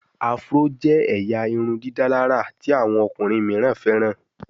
Afro jé ẹyà irundidalara tí àwọn ọkùnrin míràn feran.